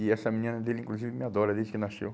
E essa menina dele, inclusive, me adora desde que nasceu.